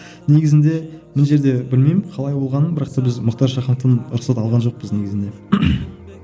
негізінде мына жерде білмеймін қалай болғанын бірақ та біз мұхтар шахановтан рұқсат алған жоқпыз негізінде